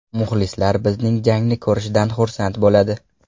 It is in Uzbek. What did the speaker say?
Muxlislar bizning jangni ko‘rishdan xursand bo‘ladi.